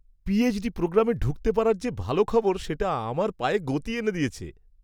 PhD প্রোগ্রামে ঢুকতে পারার যে ভালো খবর, সেটা আমার পায়ে গতি এনে দিয়েছে!